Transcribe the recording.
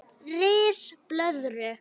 Ris blöðru